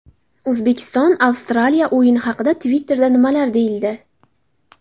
O‘zbekiston – Avstraliya o‘yini haqida Twitter’da nimalar deyildi?